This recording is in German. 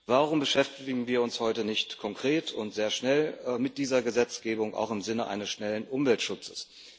Warum beschäftigen wir uns heute nicht konkret und sehr schnell und mit dieser Gesetzgebung, auch im Sinne eines schnellen Umweltschutzes?